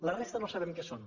la resta no sabem què són